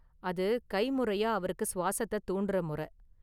அது கைமுறையா அவருக்கு சுவாசத்தை தூண்டுற முறை.